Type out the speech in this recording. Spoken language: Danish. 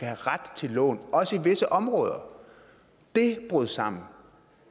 have ret til et lån også i visse områder det brød sammen